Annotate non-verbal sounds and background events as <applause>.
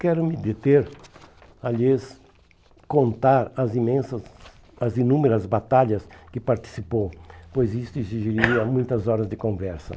Quero me deter, aliás, contar as imensas as inúmeras batalhas que participou, pois isto exigiria <coughs> muitas horas de conversa.